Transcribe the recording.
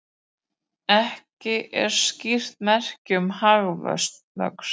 Ekki skýr merki um hagvöxt